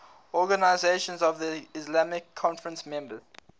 organisation of the islamic conference members